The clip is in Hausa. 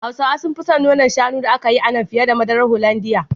Hausawa sun fi son nonan shanu da aka yi a nan, fiye da madarar Holandiya.